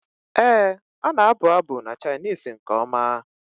Ee, ọ na-abụ abụ na Chinese nke ọma.